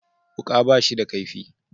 Wuka ba shi da kaifi